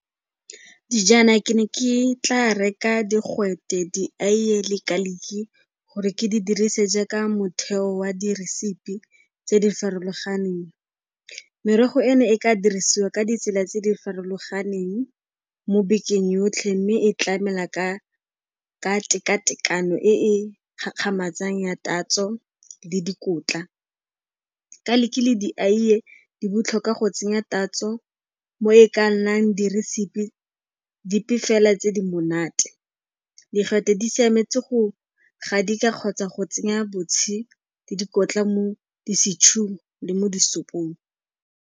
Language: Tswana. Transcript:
Dijana ke ne ke tla reka digwete, diaeye le garlic-i gore ke di dirise jaaka motheo wa di-recipe-i tse di farologaneng. Merogo eno e ka dirisiwa ka ditsela tse di farologaneng mo bekeng yotlhe mme e tlamela ka teka-tekano e e gakgamatsang ya tatso le dikotla. Garlic-i le diaeye di botlhokwa go tsenya tatso mo e ka nnang di-recipe-i dipe fela tse di monate. Digwete di siametse go gadika kgotsa go tsenya botshe le dikotla mo di-stew-ung le mo disophong.